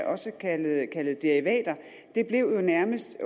også kaldet kaldet derivater blev jo nærmest